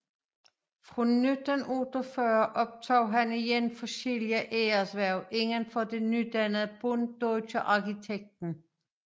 Fra 1948 overtog han igen forskellige æreshverv indenfor det nydannede Bund Deutscher Architekten